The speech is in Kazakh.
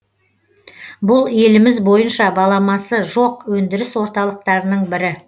бұл еліміз бойынша баламасы жоқ өндіріс орталықтарының бірі